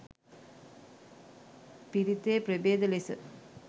පිරිතේ ප්‍රභේද ලෙස